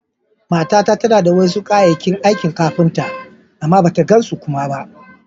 Matata tana da wasu ƙayakin aikin kafinta, amma bata gan su kuma ba.